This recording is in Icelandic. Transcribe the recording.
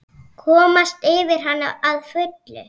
Komast yfir hana að fullu?